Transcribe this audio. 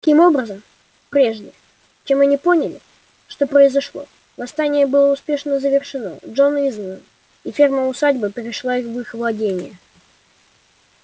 таким образом прежде чем они поняли что произошло восстание было успешно завершено джонс изгнан и ферма усадьба перешла в их владение